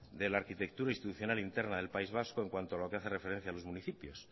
de la arquitectura institucional interna del país vasco en cuanto lo que hace referencia a los municipios